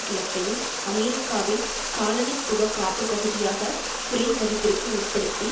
கிழக்கையும் அமெரிக்காவின் காலனித்துவ காப்பு பகுதியாக குறைமதிப்பிற்கு உட்படுத்தி